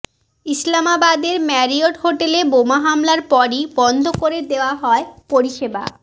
ইসলামাবাদের Marriott হোটেলে বোমা হামলার পরই বন্ধ করে দেওয়া হয় পরিষেবা